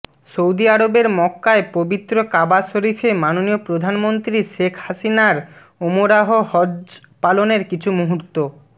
Saudi আরবের মক্কায় পবিত্র কাবা শরীফে মাননীয় প্রধানমন্ত্রী শেখ হাসিনার ওমরাহ হজ্ব পালনের কিছু মুহুর্ত